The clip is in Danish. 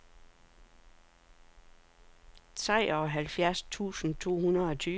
treoghalvfjerds tusind to hundrede og tyve